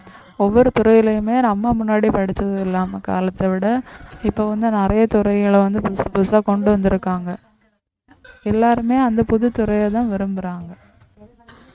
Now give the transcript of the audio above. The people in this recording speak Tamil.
ஒவ்வொரு துறையிலுமே நம்ம முன்னாடி படிச்சது இல்லாம காலத்தை விட இப்ப வந்து நிறைய துறைகளை வந்து புதுசு புதுசா கொண்டு வந்திருக்காங்க எல்லாருமே அந்த புதுத்துறையை தான் விரும்புறாங்க